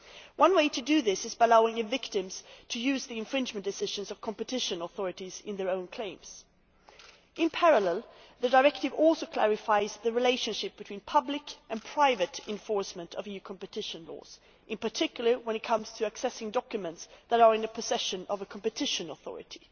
One way to do this is by allowing victims to use the infringement decisions of competition authorities in their own claims. In parallel, the directive also clarifies the relationship between public and private enforcement of EU competition laws, in particular when it comes to accessing documents that are in the possession of a competition authority.